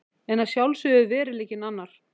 En að sjálfsögðu er veruleikinn annar!